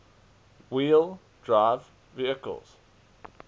wheel drive vehicles